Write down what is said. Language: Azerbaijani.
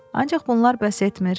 Ancaq bunlar bəs etmir.